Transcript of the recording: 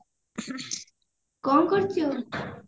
କଣ କରୁଛୁ?